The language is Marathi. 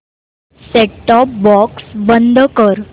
सेट टॉप बॉक्स बंद कर